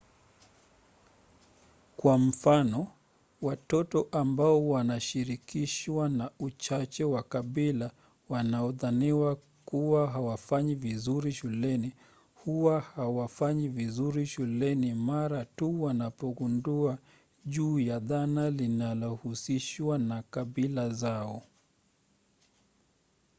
kwa mfano watoto ambao wanashirikishwa na uchache wa kabila wanaodhaniwa kuwa hawafanyi vizuri shuleni huwa hawafanyi vizuri shuleni mara tu wanapogundua juu ya dhana linalohusishwa na kabila zao